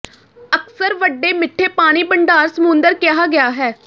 ਅਕਸਰ ਵੱਡੇ ਮਿੱਠੇ ਪਾਣੀ ਭੰਡਾਰ ਸਮੁੰਦਰ ਕਿਹਾ ਗਿਆ ਹੈ